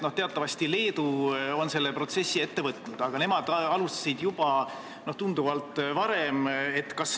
Teatavasti Leedu on selle protsessi ette võtnud, aga nemad alustasid tunduvalt varem.